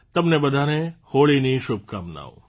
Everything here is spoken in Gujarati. તમને બધાને હોળીની શુભકામનાઓ